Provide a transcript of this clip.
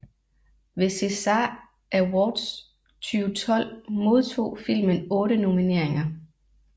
Ved César Awards 2012 modtog filmen otte nomineringer